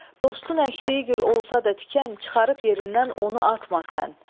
Dostun əkdiyi gül olsa da tikan, çıxarıb yerindən onu atma sən.